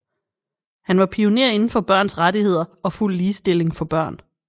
Han var pioner inden for børns rettigheder og fuld ligestilling for børn